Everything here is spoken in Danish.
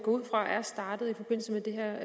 er